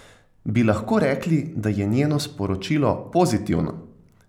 Bi lahko rekli, da je njeno sporočilo pozitivno?